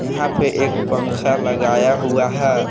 यहां पे एक पंखा लगाया हुआ है।